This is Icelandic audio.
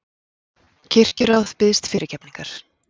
Kirkjuráð biðst fyrirgefningar